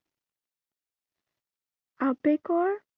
আবেগৰ